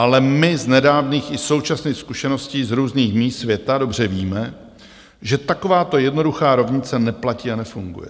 Ale my z nedávných i současných zkušeností z různých míst světa dobře víme, že takováto jednoduchá rovnice neplatí a nefunguje.